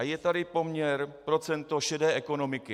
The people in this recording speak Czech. A je tady poměr, procento šedé ekonomiky.